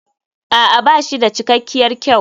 A'a ba shi da cikakkiyar kyau.